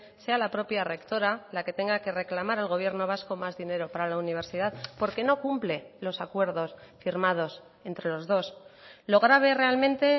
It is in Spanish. sea la propia rectora la que tenga que reclamar al gobierno vasco más dinero para la universidad porque no cumple los acuerdos firmados entre los dos lo grave realmente